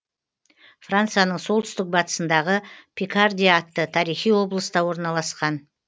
францияның солтүстік батысындағы пикардия атты тарихи облыста орналасқан